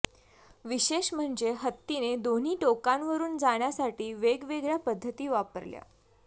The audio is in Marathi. विशेष म्हणजे हत्तीने दोन्ही टोकांवरुन जाण्यासाठी वेगवेगळ्या पद्धती वापरल्या